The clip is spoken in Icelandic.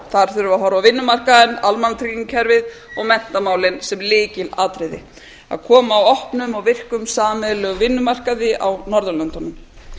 að horfa á vinnumarkaðinn almannatryggingakerfið og menntamálin sem lykilatriði að koma á opnum og sameiginlegum vinnumarkaði á norðurlöndunum